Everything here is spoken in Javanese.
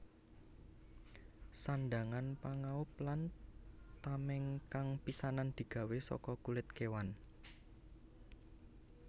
Sandhangan pangaub lan tameng kang pisanan digawé saka kulit kewan